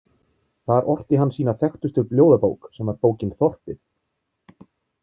Þar orti hann sína þekktustu ljóðabók sem var bókin Þorpið.